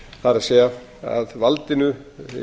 það er að valdinu